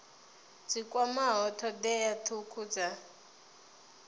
dzi kwamaho thodea thukhu dza